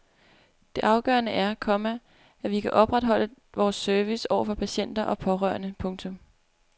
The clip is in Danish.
Det afgørende er, komma at vi kan opretholde vores service over for patienter og pårørende. punktum